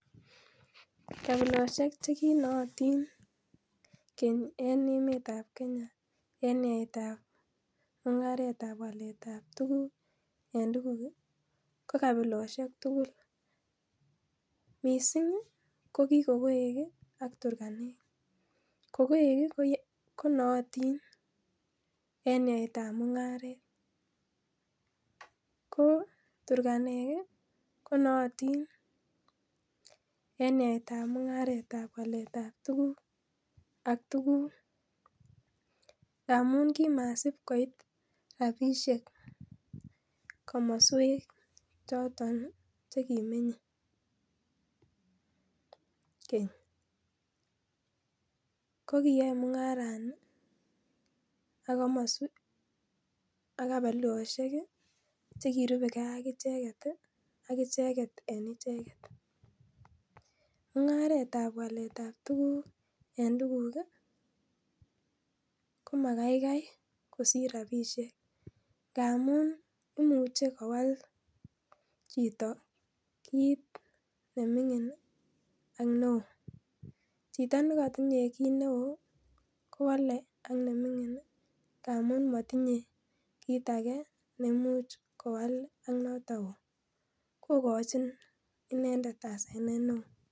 Kabilosiek che kinootin keny en emtab kenya en yaetab mung'aretab waletab tuguk en tuguk ko kabilosiek tugul missing ko kikokoek ak Turkanek ,kokoek konootin en yaetab mung'aret koo Turkanek konooting en yaetab mung'aretab waletab tuguk ak tuguk ngamun kimasipkoit rapisiek komoswek choton chekimenye keny kokiyoe mung'arani ak kabilosiek chekirubegee akicheket ii akicheket en icheket, mung'aretab waletab tuguk en tuguk ii komakaikai kosir rapisiek ngamun imuche kowal chito kit neming'in ii ak ne oo, chito nekotinyee kit ne oo kowale ak neming'in ii ngamun motinye kit age nemuch kowal ak noton oo kokochin inendet asenet ne oo.